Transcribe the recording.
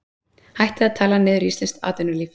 Hættið að tala niður íslenskt atvinnulíf